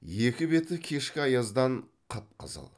екі беті кешкі аяздан қып қызыл